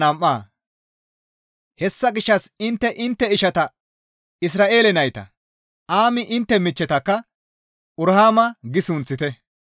Hessa gishshas intte intte ishata Isra7eele nayta, «Aami» intte michchetakka «Uruhaama» gi sunththite.